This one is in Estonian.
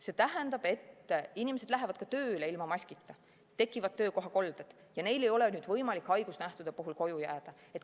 See tähendab, et inimesed lähevad ka tööle ilma maskita, tekivad töökohakolded, kuna neil ei ole võimalik haigusnähtude puhul koju jääda.